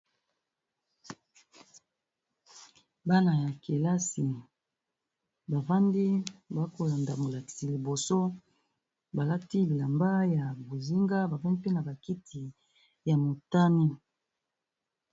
Bana ya kélasi bavandi ba kolanda molakisi liboso, balati bilamba ya bozinga bavandi mpe na bakiti ya motané.